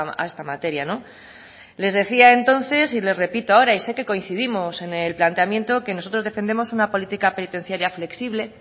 a esta materia no les decía entonces y les repito ahora y sé que coincidimos en el planteamiento que nosotros defendemos una política penitenciaria flexible